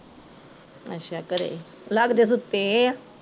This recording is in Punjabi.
ਅੱਛਾ ਘਰੇ, ਲੱਗਦੇ ਸੁੱਤੇ ਐ